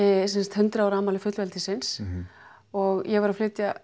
hundrað ára afmæli fullveldisins og ég var að flytja